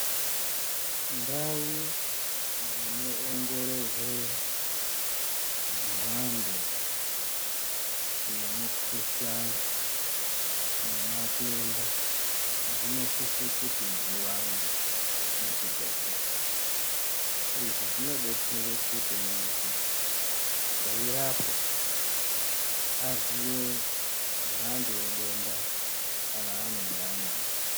Ndau dzinoongororwe mhando yemukuhlani nematenda dzinosise kuti dziwande muzvibhedhlera. Izvi zvinobetsere kuti muntu eirapwa aziye mhando yedenda raanonga anaro.